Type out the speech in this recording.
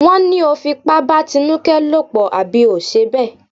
Wọ́n ní o fipá bá Tinúkẹ́ lòpọ̀ àbí ò ṣe bẹ́ẹ̀?